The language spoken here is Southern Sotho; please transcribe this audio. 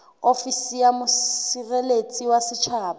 ofisi ya mosireletsi wa setjhaba